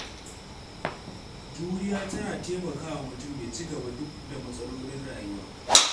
Juriya tana taimakawa mutum ya ci gaba duk da matsalolin rayuwa.